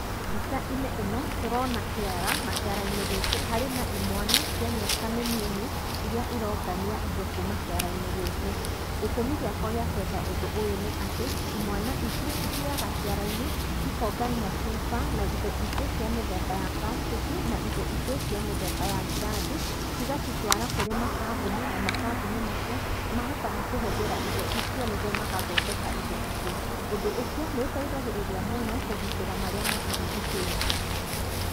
Mbica-inĩ ĩno tũrona kĩara, na kĩara-inĩ gĩkĩ harĩ na imwana cia mĩaka mĩnini iria irongania indo kuma kĩara-inĩ gĩkĩ. Gĩtũmi gĩakwa gĩa kwenda ũndũ ũyũ nĩ atĩ imwana ici, cithiaga ciara-inĩ, cikongania cuba na indo ingĩ cia mĩthemba ya brastĩki na indo ingĩ cia mĩthemba ya ngirathi, cigacitwatara kũrĩ makambuni na makambuni macio nĩ mahotaga kũhũthĩra indo icio nĩguo magathondeka indo ingĩ. Ũndũ ũcio nĩ ũtaithagĩrĩria mũno kũgitĩra marĩa matũrigicĩirie.